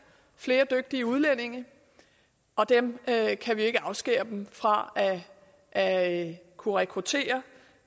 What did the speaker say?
flere dygtige udlændinge og dem kan kan vi ikke afskære dem fra at kunne rekruttere